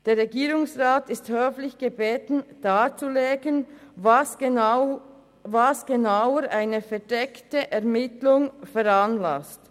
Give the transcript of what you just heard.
Der Regierungsrat ist höflich gebeten, darzulegen, was genau eine verdeckte Ermittlung veranlasst.